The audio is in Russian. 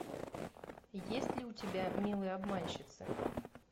есть ли у тебя милые обманщицы